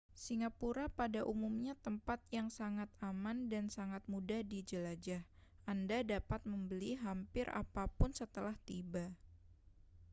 singapura pada umumnya tempat yang sangat aman dan sangat mudah dijelajah anda dapat membeli hampir apa pun setelah tiba